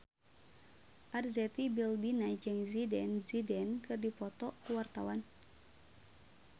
Arzetti Bilbina jeung Zidane Zidane keur dipoto ku wartawan